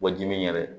Wajibi yɛrɛ